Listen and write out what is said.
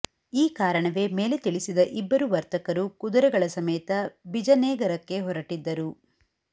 ಈ ಕಾರಣವೇ ಮೇಲೆ ತಿಳಿಸಿದ ಇಬ್ಬರು ವರ್ತಕರು ಕುದುರೆಗಳ ಸಮೇತ ಬಿಜನೇಗರಕ್ಕೆ ಹೊರಟಿದ್ದರು